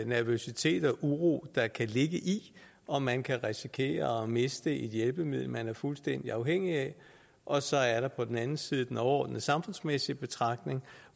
nervøsitet og uro der kan ligge i om man kan risikere at miste et hjælpemiddel man er fuldstændig afhængig af og så er der på den anden side den overordnede samfundsmæssige betragtning